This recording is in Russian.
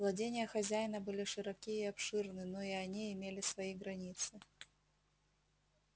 владения хозяина были широки и обширны но и они имели свои границы